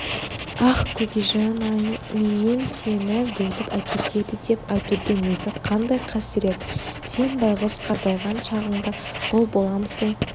аһ көкежан-ай менен сені бөліп әкетеді деп айтудың өзі қандай қасірет сен байғұс қартайған шағыңда құл боламысың